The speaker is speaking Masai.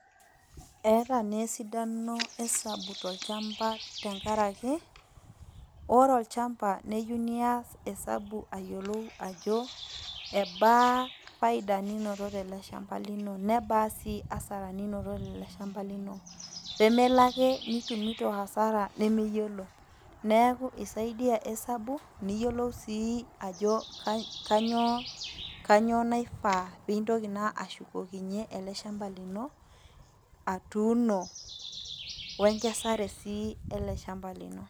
Eetaa naa esidano esabu tolchamba tenakaraki ore olchamba neyieu nias esabu ayiolou ajo ebaa faida ninoto teleshamba , nebaa sii asara ninoto teleshamba lino pemelo ake nitumito asara nemiyiolo neaku isaidia esabu niyiolo sii ajo kainyioo, kainyioo naifaa pintoki naa ashukokinyie eleshamba lino atuuno wenkesare sii eleshamba lino.